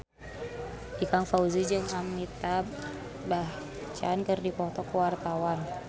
Ikang Fawzi jeung Amitabh Bachchan keur dipoto ku wartawan